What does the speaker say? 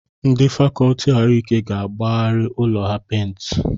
Ndị fàkọọtị ahụike ga-agbagharị ụlọ ha pèintị